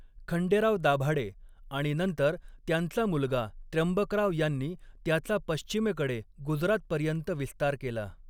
खंडेराव दाभाडे आणि नंतर त्यांचा मुलगा त्र्यंबकराव यांनी त्याचा पश्चिमेकडे गुजरातपर्यंत विस्तार केला.